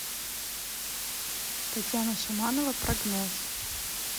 татьяна шаманова прогноз